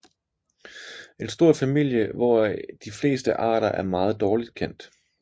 En stor familie hvoraf de fleste arter er meget dårligt kendt